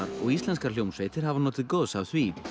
og íslenskar hljómsveitir hafa notið góðs af því